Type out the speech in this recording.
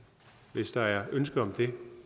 hvis der er ønske om det